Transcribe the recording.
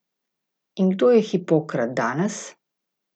In kdo je Hipokrat danes?